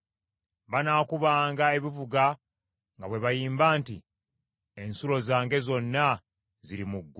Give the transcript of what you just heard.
Banaakubanga ebivuga nga bwe bayimba nti, “Ensulo zange zonna ziri mu ggwe.”